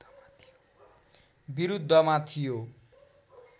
बिरुद्धमा थियो